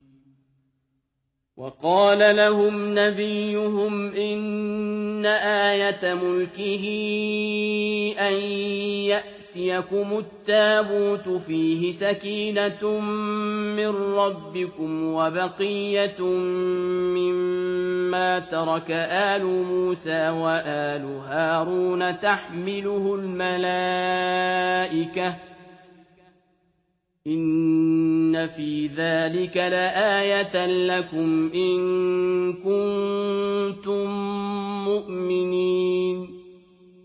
وَقَالَ لَهُمْ نَبِيُّهُمْ إِنَّ آيَةَ مُلْكِهِ أَن يَأْتِيَكُمُ التَّابُوتُ فِيهِ سَكِينَةٌ مِّن رَّبِّكُمْ وَبَقِيَّةٌ مِّمَّا تَرَكَ آلُ مُوسَىٰ وَآلُ هَارُونَ تَحْمِلُهُ الْمَلَائِكَةُ ۚ إِنَّ فِي ذَٰلِكَ لَآيَةً لَّكُمْ إِن كُنتُم مُّؤْمِنِينَ